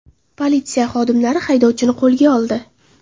Politsiya xodimlari haydovchini qo‘lga oldi.